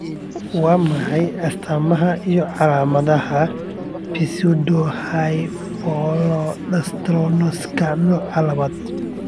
Waa maxay astamaha iyo calaamadaha Pseudohypoaldosteroniska nooca labad?